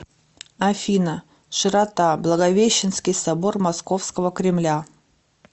афина широта благовещенский собор московского кремля